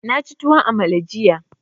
Na ci tuwon amala jiya.